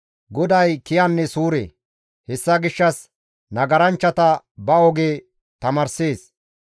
GODAY kiyanne suure; hessa gishshas nagaranchchata ba oge tamaarssees.